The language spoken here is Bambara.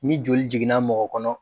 Ni joli jiginna mɔgɔ kɔnɔ